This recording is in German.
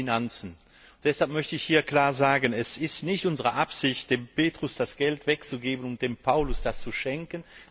auch die Finanzen. Deshalb möchte ich hier klar sagen, dass es nicht unsere Absicht ist, dem Petrus das Geld wegzunehmen, um es dem Paulus zu schenken.